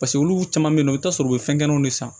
Paseke olu caman bɛ yen nɔ i bɛ t'a sɔrɔ u bɛ fɛngɛnw de san